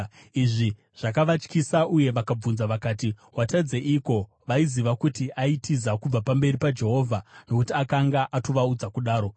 Izvi zvakavatyisa uye vakabvunza vakati, “Watadzeiko?” (Vaiziva kuti aitiza kubva pamberi paJehovha, nokuti akanga atovaudza kudaro.)